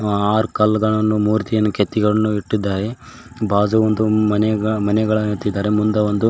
R ಕಲ್ಲುಗಳನ್ನು ಮೂರ್ತಿಯನ್ನು ಕೆತ್ತಿಗಳನ್ನು ಇಟ್ಟಿದ್ದಾರೆ ಬಾಜು ಒಂದು ಮನೆಗ ಮನೆಗಳನ್ನು ಇಟ್ಟಿದ್ದಾರೆ ಮುಂದ ಒಂದು--